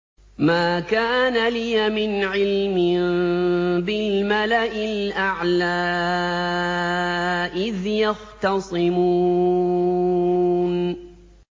مَا كَانَ لِيَ مِنْ عِلْمٍ بِالْمَلَإِ الْأَعْلَىٰ إِذْ يَخْتَصِمُونَ